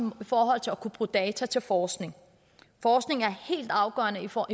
forhold til at kunne bruge data til forskning forskning er helt afgørende for